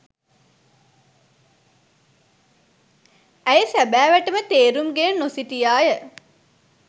ඇය සැබෑවට ම තේරුම්ගෙන නොසිටියා ය